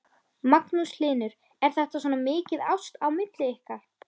Magnús Hlynur: Er þetta svona mikið ást á milli ykkar?